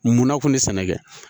Munna kun bɛ sɛnɛ kɛ